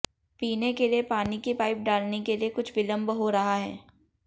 पीने के लिए पानी की पाईप डालने के लिए कुछ विलम्ब हो रहा है